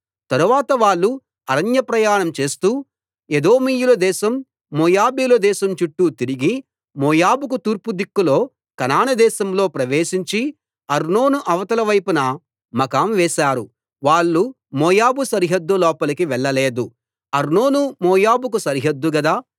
తరువాత వాళ్ళు అరణ్య ప్రయాణం చేస్తూ ఎదోమీయుల దేశం మోయాబీయుల దేశం చుట్టూ తిరిగి మోయాబుకు తూర్పు దిక్కులో కనాను దేశంలో ప్రవేశించి అర్నోను అవతలివైపున మకాం వేశారు వాళ్ళు మోయాబు సరిహద్దు లోపలికి వెళ్ళలేదు అర్నోను మోయాబుకు సరిహద్దు గదా